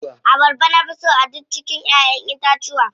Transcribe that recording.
Abarba na fi so a duk cikin ƴaʼƴen itatuwa.